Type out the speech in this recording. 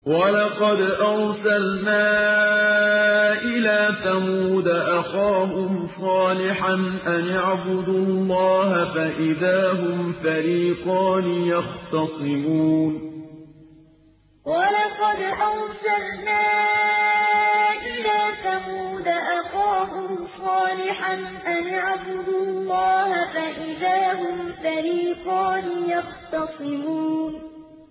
وَلَقَدْ أَرْسَلْنَا إِلَىٰ ثَمُودَ أَخَاهُمْ صَالِحًا أَنِ اعْبُدُوا اللَّهَ فَإِذَا هُمْ فَرِيقَانِ يَخْتَصِمُونَ وَلَقَدْ أَرْسَلْنَا إِلَىٰ ثَمُودَ أَخَاهُمْ صَالِحًا أَنِ اعْبُدُوا اللَّهَ فَإِذَا هُمْ فَرِيقَانِ يَخْتَصِمُونَ